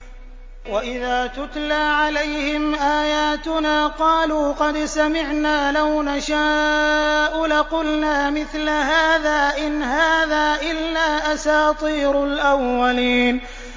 وَإِذَا تُتْلَىٰ عَلَيْهِمْ آيَاتُنَا قَالُوا قَدْ سَمِعْنَا لَوْ نَشَاءُ لَقُلْنَا مِثْلَ هَٰذَا ۙ إِنْ هَٰذَا إِلَّا أَسَاطِيرُ الْأَوَّلِينَ